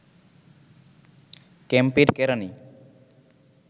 ক্যাম্পের কেরানি